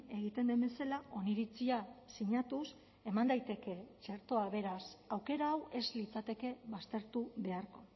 egiten den bezala oniritzia sinatuz eman daiteke txertoa beraz aukera hau ez litzateke baztertu beharko